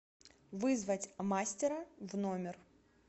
вызвать мастера в номер